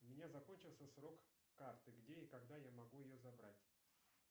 у меня закончился срок карты где и когда я могу ее забрать